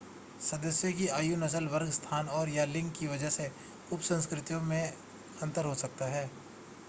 सदस्यों की आयु नस्ल वर्ग स्थान और/या लिंग की वजह से उपसंस्कृतियों में अंतर हो सकता है